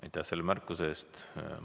Aitäh selle märkuse eest!